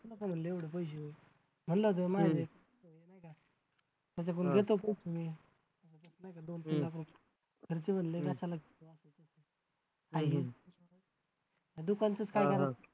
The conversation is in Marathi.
गुंतवू नको एवढे पैसे म्हंटल होत ना माये दे.